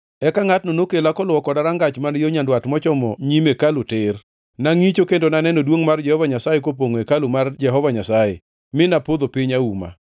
Eka ngʼatno nokela koluwo koda rangach man yo nyandwat mochomo nyim hekalu tir. Nangʼicho, kendo naneno duongʼ mar Jehova Nyasaye kopongʼo hekalu mar Jehova Nyasaye, mi napodho piny auma.